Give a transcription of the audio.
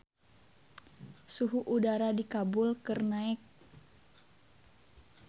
Suhu udara di Kabul keur naek